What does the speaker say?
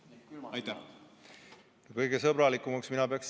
Kõige sõbralikumaks peaks mina Soomet.